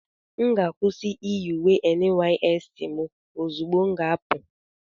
M ga-akwụsị iyi uwe NYSC m ozugbo m ga-apụ.